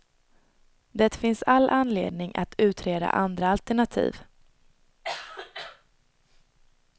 Det finns all anledning att utreda andra alternativ.